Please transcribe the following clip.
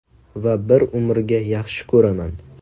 Va bir umrga yaxshi ko‘raman”.